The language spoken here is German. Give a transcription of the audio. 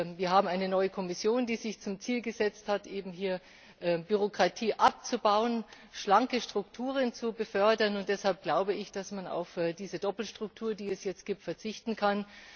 Wir haben eine neue Kommission, die sich zum Ziel gesetzt hat, Bürokratie abzubauen, schlanke Strukturen zu fördern, und deshalb glaube ich, dass man auf diese Doppelstruktur, die es jetzt gibt, verzichten kann.